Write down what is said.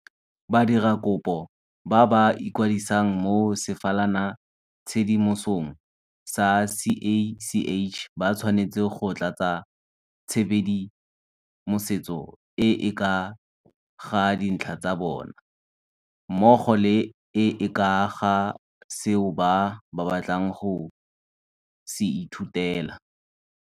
Badiradikopo ba ba ikwadisang mo sefalanatshedimosong sa CACH ba tshwanetse go tlatsa tshedimosetso e e ka ga dintlha tsa bona, mmogo le e e ka ga seo ba batlang go se ithutela.